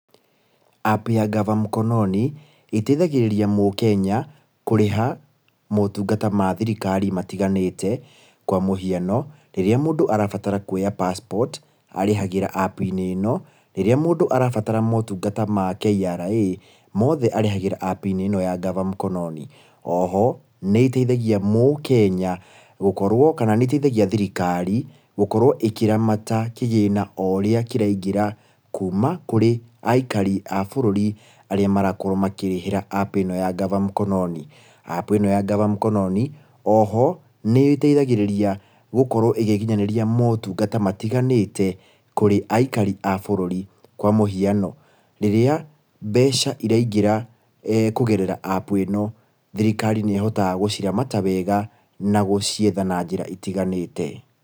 App ya gava mkononi, ĩteithagĩrĩria mũkenya kũrĩha motungata ma thirikari matiganĩte, kwa mũhiano, rĩrĩa mũndũ arabatara kwoya passport, arĩhagira app-inĩ ĩno, rĩrĩa mũndũ arabatara motungata ma KRA, mothe arĩhagĩra app-inĩ ĩno ya gava mkononi. Oho, nĩĩteithagia mũkenya gũkorwo kana nĩĩteithagia thirikari gũkorwo ĩkĩramata kĩgĩna oũrĩa kĩraingĩra kũũma kũrĩ aikari a bũrũri arĩa marakorwo makĩrĩhĩra app ĩno ya gava mkononi. App ĩno ya gava mkononi, oho nĩ ĩteithagĩrĩria gũkorwo ĩgĩkinyanĩria motungata matiganĩte kũrĩ aikari a bũrũri. Kwa mũhiano, rĩrĩa mbeca iraingĩra kũgerera app ĩno, thirikari nĩ ĩhotaga gũciramata wega na gũcietha na njĩra itiganĩte.